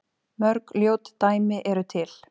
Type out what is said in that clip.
Mörg ljót dæmi eru til.